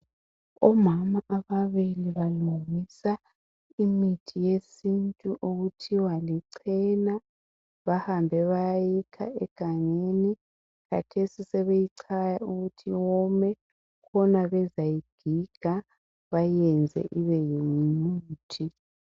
umama ababili balungisa imithi yesintu okuthiwa lichena bahambe bayayikha egangeni khathesi sebeyichaya ukuthi yome khona bezayigiga bayenze ibe ngumuthi.